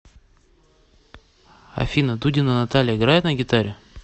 афина дудина наталья играет на гитаре